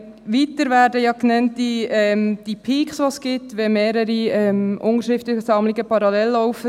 Weiter werden die Peaks genannt, wenn mehrere Unterschriftensammlungen parallel laufen.